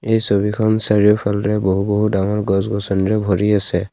এই ছবিখন চাৰিওফালেৰে বহু বহু ডাঙৰ গছ-গছনিৰে ভৰি আছে।